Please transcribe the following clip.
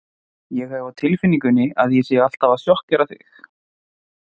Ég hef á tilfinningunni að ég sé alltaf að sjokkera þig.